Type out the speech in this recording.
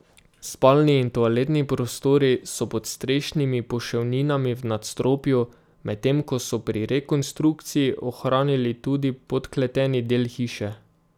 Spalni in toaletni prostori so pod strešnimi poševninami v nadstropju, medtem ko so pri rekonstrukciji ohranili tudi podkleteni del hiše.